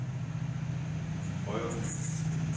Højreby